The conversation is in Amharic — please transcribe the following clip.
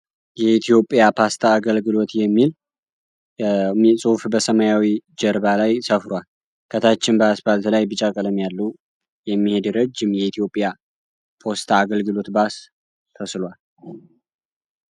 የኢትዮጵያ ፖስታ አገልግሎት የሚል ጽሁፍ በሰማያዊ ጀርባ ላይ ሰፍሯል። ከታችም በስፓልት ላይ ቢጫ ቀለም ያለው የሚሄድ ረጅም የኢትዮጵያ ፖስታ አገልግሎት ባስ ተስሏል።